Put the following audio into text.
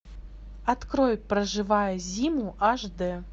открой проживая зиму аш дэ